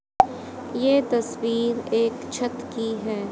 ये तस्वीर एक छत की है।